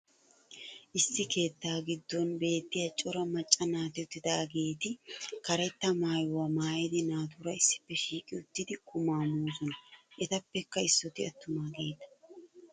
issi keettaa giddon beetiya caro macca naati uttidaageeti karetta maayuwaa maayida naatuura issippe shiiqqi uttidi qumaa moosona. etappekka issooti atumaageeta.